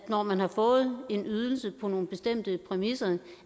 når man har fået en ydelse på nogle bestemte præmisser